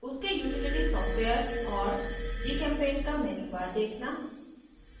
उसके utility softwares और gchempaint का मेन्यू बार देखना